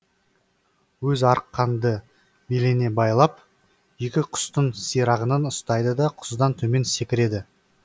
өзі арқанды беліне байлап екі құстың сирағынан ұстайды да құздан төмен секіреді